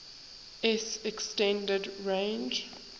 s extended range